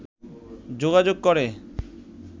যোগাযোগ করে